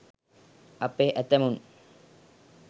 අපේ ඇතැමුන්